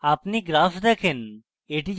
আপনি graph দেখেন